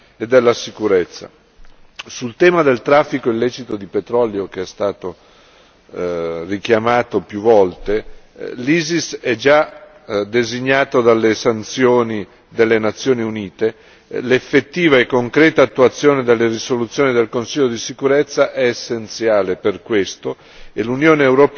Sul tema del traffico illecito di petrolio che è stato richiamato più volte, l'ISIS è già designato dalle sanzioni delle Nazioni Unite, l'effettiva e concreta attuazione delle risoluzioni del Consiglio di sicurezza è essenziale per questo e l'Unione europea interviene attivamente